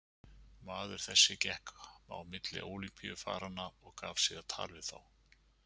Maður þessi gekk á milli Ólympíufaranna og gaf sig á tal við þá.